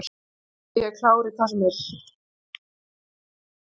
Ég er klár í hvað sem er.